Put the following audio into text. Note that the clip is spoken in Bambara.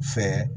Fɛ